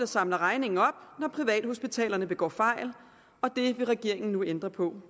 samler regningen op når privathospitalerne begår fejl og det vil regeringen nu ændre på